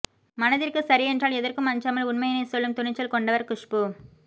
மனதிற்கு சரியென்றால் எதற்கும் அஞ்சாமல் உண்மையினை சொல்லும் துணிச்சல் கொண்டவர் குஷ்பூ